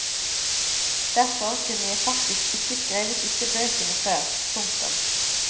Derfor kunne jeg faktisk ikke skrevet disse bøkene før. punktum